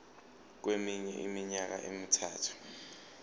kweminye iminyaka emithathu